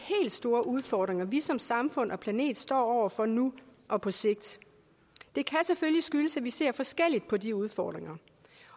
store udfordringer vi som samfund og planet står over for nu og på sigt det kan selvfølgelig skyldes at vi ser forskelligt på de udfordringer